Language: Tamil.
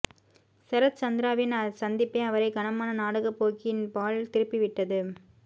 சரத் சந்திராவின் சந்திப்பே அவரை கனமான நாடகப்போக்கின்பால் திருப்பி விட் ட து